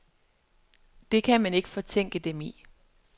Det kan man ikke fortænke dem i.